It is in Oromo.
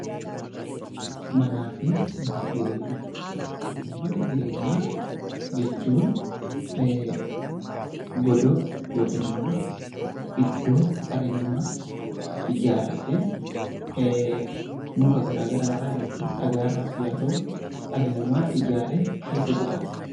Mana jireenyaa jechuun godoo yookaan iddoo dhalli namaa ijaarratee muka garaagaraa irraa dhagaa irraas ta'u dhalli namaa ijaaree keessa jiraatu jechuudha